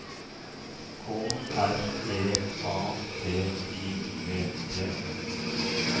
K R E A T I V T